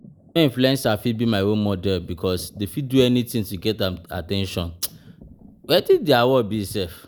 No influencer fit be my role model because dem fit do anything to get at ten tion, wetin dia work be sef?